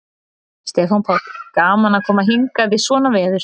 Stefán Páll: Gaman að koma hingað í svona veður?